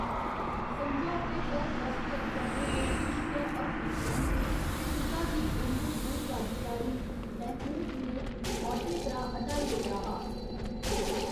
समझौते पर दसखत करने दे किश गै हफ्तें परैंत्त, शुजा गी उं'दे पूर्वाधिकारी महमूद ने औह्‌दे परा हटाई ओड़ेआ हा।